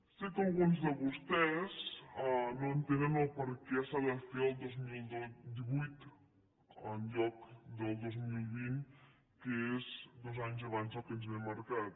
sé que alguns de vostès no entenen el perquè s’ha de fer el dos mil divuit en lloc del dos mil vint que és dos anys abans del que ens ve marcat